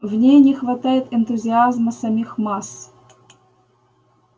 в ней не хватает энтузиазма самих масс